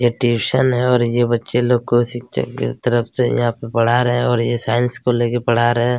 ये ट्यूशन है और ये बच्चे लोग को शिक्षक की तरफ से यहाँ पर पढ़ा रहै हैं और यह साइंस को लेकर पढ़ा रहै हैं।